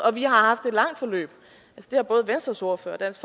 vi har haft et langt forløb det har både venstres ordfører og dansk